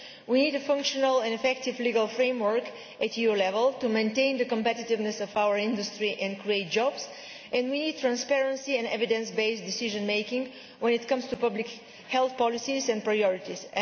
We need a functional and effective legal framework at EU level to maintain the competitiveness of our industry and create jobs, and we need transparency and evidence based decision making when it comes to public health policies and priorities.